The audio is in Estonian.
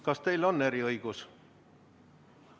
Kas teil on eriõigus?